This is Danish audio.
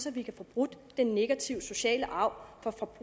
at vi kan få brudt den negative sociale arv